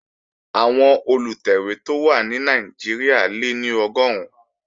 Àwọn Olùtẹ̀wé tó wà ní Nàìjíríà lé ní Ọgọ́run